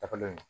Tagalen